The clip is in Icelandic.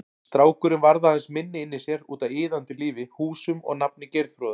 Strákurinn varð aðeins minni inni í sér, útaf iðandi lífi, húsum og nafni Geirþrúðar.